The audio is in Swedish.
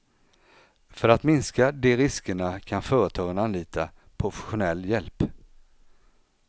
För att minska de riskerna kan företagen anlita professionell hjälp.